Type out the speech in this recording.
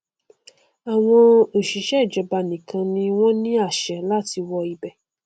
àwọn òṣìṣẹ ìjọba nìkan ni wọn ní àṣẹ láti wọ ibẹ